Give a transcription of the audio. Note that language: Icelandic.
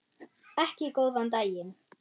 Ekki góðan daginn.